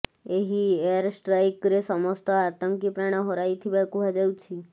ଏହି ଏୟାର ଷ୍ଟ୍ରାଇକ୍ରେ ସମସ୍ତ ଆତଙ୍କୀ ପ୍ରାଣ ହରାଇଥିବା କୁହାଯାଉଛି